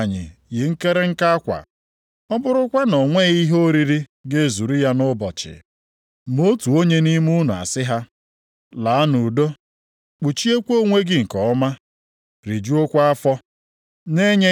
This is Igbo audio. Olee uru ọ bara ụmụnna m, na mmadụ sịrị, enwere m okwukwe, ma okwukwe ahụ apụtaghị ihe nʼọrụ ya? Ụdị okwukwe ahụ ọ pụrụ ịzọpụta ya?